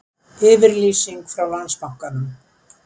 Yfirlýsing frá Landsbankanum